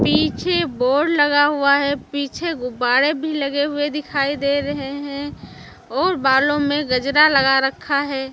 पीछे बोर्ड लगा हुआ है पीछे गुब्बारे भी लगे हुए दिखाई दे रहे हैं और बालों में गजरा लगा रखा है।